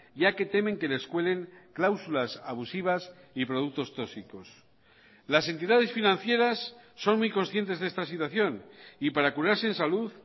ya que temen que les cuelen cláusulas abusivas y productos tóxicos las entidades financieras son muy conscientes de esta situación y para curarse en salud